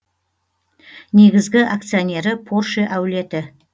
негізгі акционері порше әулеті